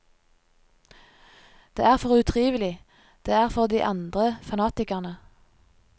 Det er for utrivelig, det er for de andre, fanatikerne.